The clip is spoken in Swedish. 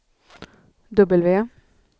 W